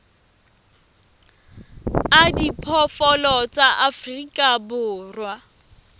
a diphoofolo tsa afrika borwa